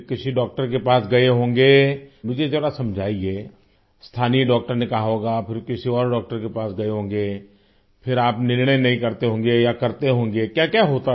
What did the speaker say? किसी डॉक्टर के पास गए होंगे मुझे जरा समझाइए स्थानीय डॉक्टर ने कहा होगा फिर किसी और डॉक्टर के पास गए होंगें फिर आप निर्णय नहीं करते होंगे या करते होंगे क्याक्या होता था